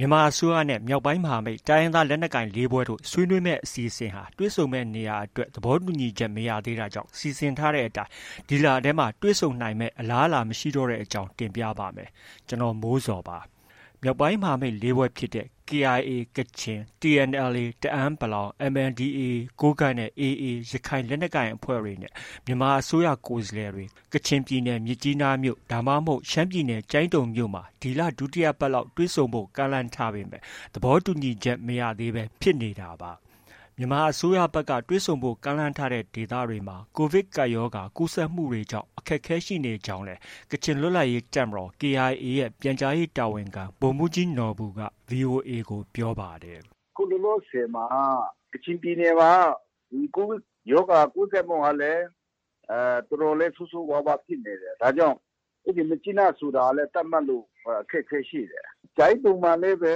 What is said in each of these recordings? မြန်မာအစိုးရနဲ့ မြောက်ပိုင်းမဟာမိတ် တိုင်းရင်းသားလက်နက်ကိုင် ၄ ဖွဲ့တို့ ဆွေးနွေးမယ့် အစီအစဉ်ဟာ တွေ့ဆုံမယ့်နေရာအတွက် သဘောတူညီမှု မရသေးတာကြောင့် စီစဉ်ထားတဲ့အတိုင်း ဒီလထဲ တွေ့ဆုံနိုင်မယ့် အလားအလာမရှိတော့တဲ့အကြောင်းကို ဗွီအိုအေမြန်မာပိုင်း သတင်းထောက် ကိုမိုးဇော်က တင်ပြပေးပါမယ်။ မြောက်ပိုင်းမဟာမိတ် ၄ ဖွဲ့ဖြစ်တဲ့ KIA ကချင်၊ TNLA တအန်း(ပလောင်)၊ MNDAA ကိုးကန့်နဲ့ AA ရခိုင်လက်နက်ကိုင်အဖွဲ့တွေနဲ့ မြန်မာအစိုးရ ကိုယ်စားလှယ်တွေ ကချင်ပြည်နယ်၊ မြစ်ကြီးနား ဒါမှမဟုတ် ရှမ်းပြည်နယ်၊ ကျိုင်းတုံမြို့မှာ ဒီလဒုတိယပတ်လောက် တွေ့ဆုံဖို့ ကမ်းလှမ်းထားပေမဲ့ သဘောတူညီချက် မရသေးဘဲ ဖြစ်နေတာပါ။ မြန်မာအစိုးရဘက်က တွေ့ဆုံဖို့ ကမ်းလှမ်းထားတဲ့ ဒေသတွေမှာ ကိုဗစ်ကပ်ရောဂါ ကူးစက်မှုတွေကြောင့် အခက်အခဲ ရှိနေကြောင်းလည်း ကချင်လွတ်လပ်ရေးတပ်မတော် KIA ရဲ့ ပြန်ကြားရေးတာဝန်ခံ ဗိုလ်မှူးကြီးနော်ဘူက VOA ကို ပြောပါတယ်။ “အခုလောလောဆယ်မှာ ကချင်ပြည်နယ်မှာက COVID ရောဂါ ကူးစက်မှုကလည်း တော်တော်လေး ဆိုးဆိုးဝါးဝါးဖြစ်နေတယ်။ ဒါကြောင့် မြစ်ကြီးနားဆိုတာလည်း သတ်မှတ်ဖို့ အခက်အခဲရှိတယ်။ ကျိုင်းတုံမှာလည်းပဲ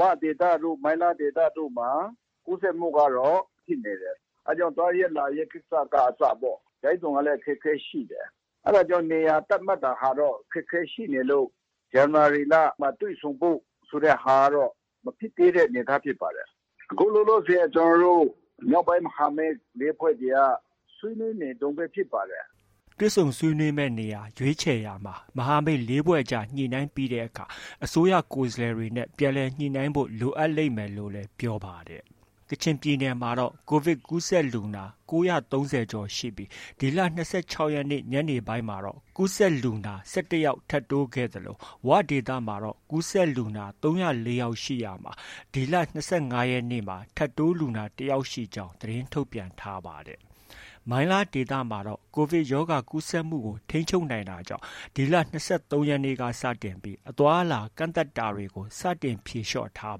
ဝဒေသတို့၊ မိုင်းလားဒေသတို့မှာ ကူးစက်မှုကတော့ ဖြစ်နေတယ်။ အဲဒါကြောင့် သွားရေး၊ လာရေး ကိစ္စက အစပေါ့။ ကျိုင်းတုံကလည်း အခက်အခဲရှိနေတယ်။ အဲဒါကြောင့် နေရာ သတ်မှတ်တာကတော့ အခက်အခဲရှိနေလို့ ဇန်နဝါရီလမှာ တွေ့ဆုံဖို့ ဆိုတဲ့ဟာကတော့ မဖြစ်သေးတဲ့အနေအထားဖြစ်ပါတယ်။ အခုလောလောဆယ် ကျနော်တို့ မြောက်ပိုင်းမဟာမိတ် ၄ ဖွဲ့တွေက ဆွေးနွေးနေတုန်းပဲ ဖြစ်ပါတယ်။” တွေ့ဆုံဆွေးနွေးမယ့်နေရာ ရွေးခြယ်ရာမှာ မဟာမိတ် ၄ ဖွဲ့ကြား ညှိနှိုင်းပြီးတဲ့အခါ၊ အစိုးရကိုယ်စားလှယ်တွေနဲ့ ပြန်လည်ညှိနှိုင်းဖို့ လိုအပ်လိမ့်မယ်လို့လည်း ပြောပါတယ်။ ကချင်ပြည်နယ်မှာတော့ COVID ကူးစက်လူနာ ၉၃၀ ကျော်ရှိပြီး ဒီလ ၂၆ ရက်နေ့ ညနေပိုင်းမှာ ကူးစက်လူနာ ၁၁ ယောက် ထပ်တိုးခဲ့သလို ဝဒေသမှာတော့ ကူးစက်လူနာ ၃၀၄ ယောက် ရှိရာမှာ ဒီလ ၂၅ ရက်နေ့မှာ ထပ်တိုးလူနာ ၁ ယောက်ရှိကြောင်း သတင်းထုတ်ပြန်ထားပါတယ်။ မိုင်းလားဒေသမှာတော့ COVDI ရောဂါကူးစက်မှုကို ထိန်းချုပ်နိုင်တာကြောင့် ဒီလ ၂၃ ရက်နေ့က စတင်ပြီး အသွားအလာ ကန့်သတ်တာတွေကို စတင် ဖြေလျော့ထား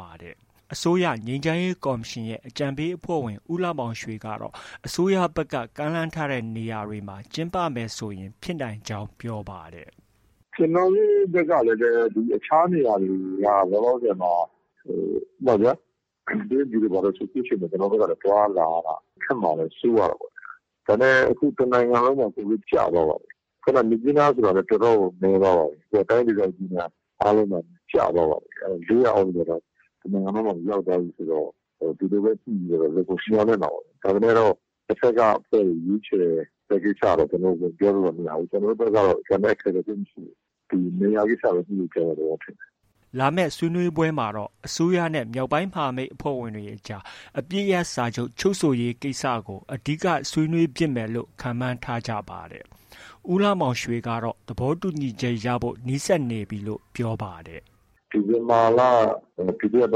ပါတယ်။ အစိုးရ ငြိမ်းချမ်းရေးကော်မရှင်ရဲ့ အကြံပေးအဖွဲ့ဝင် ဦးလှမောင်ရွှေကတော့ အစိုးရဘက်က ကမ်းလှမ်းထားတဲ့ နေရာတွေမှာ ကျင်းပမယ်ဆိုရင် ဖြစ်နိုင်ကြောင်း ပြောပါတယ်။ “ကျနော်တို့ ဘက်ကလည်း အခြားနေရာတွေက လောလောဆယ်မှာ ဥပမာဗျာ... တရုတ်ပြည်တို့ ဘာတို့ဆို အခုချိန်မှာ သွားရလာရတာ ခက်မှာလည်း စိုးရတာပေါ့။ ဒါပေမဲ့ အခုက တစ်နိုင်ငံလုံးမှာ COVID ကျသွားပါပြီ။ မြစ်ကြီးနားဆိုတာလည်း တော်တော်ကို နည်းသွားပါပြီ။ အခုက တိုင်းဒေသကြီးတွေအားလုံးမှာ ကျသွားပါပြီ။ ၄၀၀ အောက်ကို တစ်နိုင်ငံလုံးမှာ ရောက်သွားပြီဆိုတော့ ဒီလိုပဲ ညှိပြီးတော့တော့ လုပ်ဖို့ မျှော်လင့်တာပေါ့ဗျာ။ ဒါပေမဲ့လို့ တဘက်က အဖွဲ့တွေ ရွေးခြယ်တဲ့ ကိစ္စတော့ ကျနော်တို့ ပြောလို့တော့ မရဘူး။ ကျနော်တို့ဘက်ကတော့ ကျန်တဲ့အခက်အခဲ သိပ်မရှိဘူး။ နေရာကိစ္စပဲ ညှိဖို့ ကျန်တဲ့သဘောဖြစ်တယ်။” လာမယ့် ဆွေးနွေးပွဲမှာတော့ အစိုးရနဲ့ မြောက်ပိုင်း မဟာမိတ်အဖွဲ့ဝင်တွေအကြား အပစ်ရပ်စာချုပ် ချုပ်ဆိုရေးကိစ္စတွေကို အဓိက ဆွေးနွေးဖြစ်မယ်လို့လည်း ခန့်မှန်းထားကြပါတယ်။ ဦးလှမောင်ရွှေကတော့ သဘောတူညီချက်ရဖို့ နီးစပ်နေပြီလို့ ပြောပါတယ်။ “ဒီဇင်ဘာလ ဒုတိယပ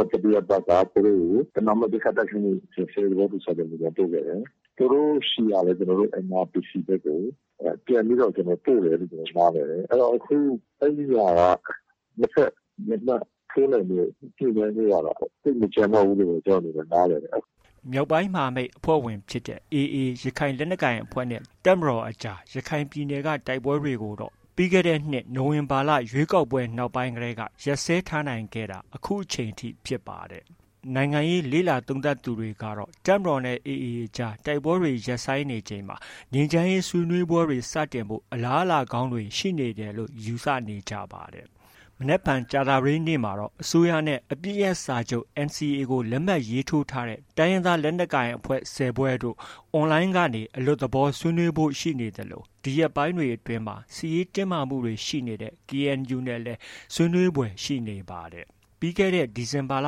တ်၊ တတိယပတ်က သူတို့ကို ပဏာမ ပစ်ခတ်တိုက်ခိုက်မှု ရပ်စဲရေး သဘောတူစာချုပ် မူကြမ်းပို့ခဲ့တယ်။ သူတို့ဆီကလည်း ကျနော်တို့ NRPC ဘက်ကို ပြန်ပြီးတော့ ပို့တယ်လု့ိ ကျနော်တို့ နားလည်တယ်။ အခု အဲဒီဟာက နှစ်ဘက် လက်မှတ်ထိုးနိုင်ဖို့ ညှိနှိုင်းဖို့ကတော့ သိပ်မကျန်တော့ဘူးလို့ပဲ ကျနော် နားလည်တယ်။” မြောက်ပိုင်းမဟာမိတ်အဖွဲ့ဝင်ဖြစ်တဲ့ AA ရခိုင်လက်နက်ကိုင်အဖွဲ့နဲ့ တပ်မတော်ကြား ရခိုင်ပြည်နယ်က တိုက်ပွဲတွေကိုတော့ ပြီးခဲ့တဲ့နှစ် နိုဝင်ဘာလ ရွေးကောက်ပွဲ နောက်ပိုင်းကတည်းက ရပ်စဲထားနိုင်ခဲ့တာ အခုချိန်ထိ ဖြစ်ပါတယ်။ နိုင်ငံရေးလေ့လာသုံးသပ်သူတွေကတော့ တပ်မတော်နဲ့ AA အကြား တိုက်ပွဲတွေ ရပ်ဆိုင်းနေချိန်မှာ ငြိမ်းချမ်းရေး ဆွေးနွေးပွဲတွေ စတင်ဖို့ အလားအလာကောင်းတွေ ရှိနေတယ်လို့ ယူဆနေကြပါတယ်။ မနက်ဖြန် ကြာသပတေးနေ့မှာတော့ အစိုးရနဲ့ အပစ်ရပ်စာချုပ် NCA လက်မှတ်ရေးထိုးထားတဲ့ တိုင်းရင်းသားလက်နက်ကိုင်အဖွဲ့ ၁၀ ဖွဲ့တို့ online ကနေ အလွတ်သဘောဆွေးနွေးဖို့ ရှိနေသလို ဒီရက်ပိုင်းအတွင်း စစ်ရေးတင်းမာမှုတွေ ရှိနေတဲ့ KNU နဲ့လည်း ဆွေးနွေးဖွယ် ရှိနေပါတယ်။ ပြီးခဲ့တဲ့ ဒီဇင်ဘာလ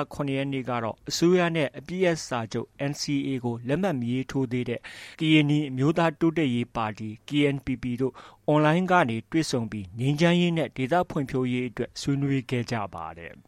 ၇ ရက်နေ့ကတော့ အစိုးရနဲ့ အပစ်ရပ်စာချုပ် NCA ကို လက်မှတ် မရေးထိုးသေးတဲ့ ကရင်နီအမျိုးသားတိုးတက်ရေးပါတီ KNPP တို့ online ကနေ တွေ့ဆုံပြီး ငြိမ်းချမ်းရေးနဲ့ ဒေသဖွံ့ဖြိုးရေးအတွက် ဆွေးနွေးခဲ့ပါတယ်။